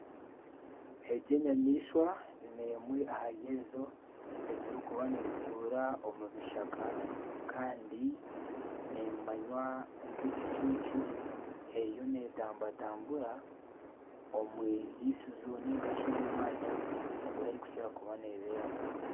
Egi enyamaishwa n'emwe ahari ezo eziri kuba nizituura omu bishaka Kandi nemanywa nka ekicuncu. Eriyo netambatambura omu irisizo ningashi omu mwanya ogu erikukira kuba neberamu.